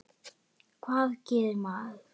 Hvað gerir maður?